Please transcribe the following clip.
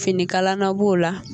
Finikalana b'o la